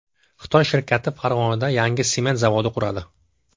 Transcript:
Xitoy shirkati Farg‘onada yangi sement zavodi quradi.